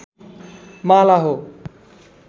माला हो